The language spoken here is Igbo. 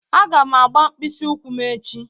Aga m agba mkpịsị ụkwụ m echi.